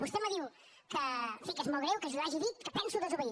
vostè me diu que en fi que és molt greu que jo hagi dit que penso desobeir